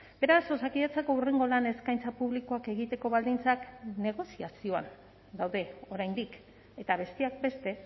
beraz osakidetzako hurrengo lan eskaintza publikoak egiteko baldintzak negoziazioan daude oraindik eta besteak beste